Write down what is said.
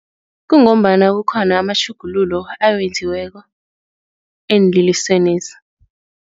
Kungombana kukhona amatjhugululo awenziweko eenlelesenezi.